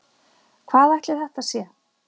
Hvað ætli þetta sé?